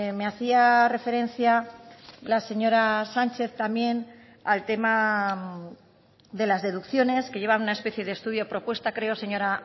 me hacía referencia la señora sánchez también al tema de las deducciones que llevan una especie de estudio propuesta creo señora